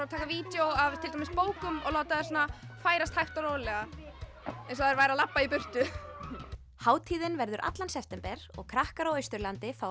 að taka vídeó af til dæmis bókum og láta þær færast hægt og rólega eins og þær væru að labba í burtu hátíðin verður allan september og krakkar á Austurlandi fá